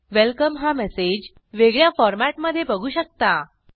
welcome हा message वेगळ्या फॉरमॅटमधे बघू शकता